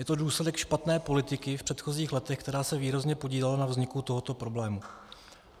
Je to důsledek špatné politiky v předchozích letech, která se výrazně podílela na vzniku tohoto problému.